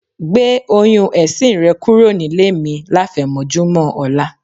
Gbé oyún ẹ̀sin rẹ kúrò nílé mi láfẹ̀mọ́júmọ̀ ọ̀la.